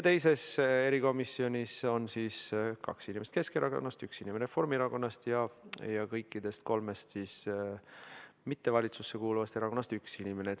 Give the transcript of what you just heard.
Teises erikomisjonis on kaks inimest Keskerakonnast, üks Reformierakonnast ning kõigist kolmest valitsusse mitte kuuluvast erakonnast on üks inimene.